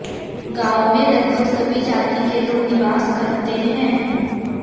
गांव में लगभग सभी जाती के लोग निवास करते हैं